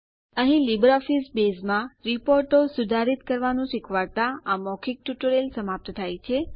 અહીં લીબરઓફીસ બેઝમાં રીપોર્ટો સુધારિત કરવાનું શીખવાડતાં આ મૌખિક ટ્યુટોરીયલ સમાપ્ત થાય છે